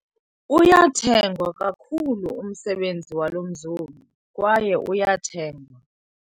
Uyathengwa kakhulu umsebenzi walo mzobi kwaye uyathengwa.